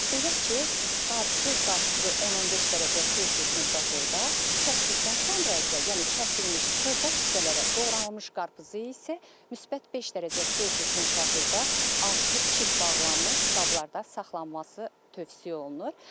Belə ki, bütöv qarpızı 10-15 dərəcə Selsi temperaturda, kəsdikdən sonra isə, yəni kəsilmiş xırda hissələrə doğranılmış qarpızı isə müsbət 5 dərəcə Selsi temperaturda ağzı qapalı qablarda saxlanması tövsiyə olunur.